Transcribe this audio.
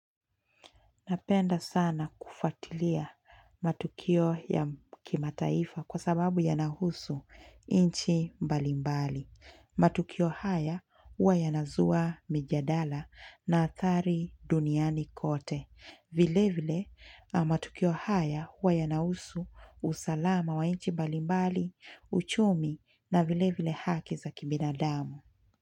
Napenda sana kufuatilia matukio ya kimataifa kwa sababu yanahusu nchi mbalimbali. Matukio haya huwa yanazua mijadala na athari duniani kote. Vile vile matukio haya huwa yanahusu usalama wa nchi mbalimbali, uchumi na vilevile haki za kibinadamu.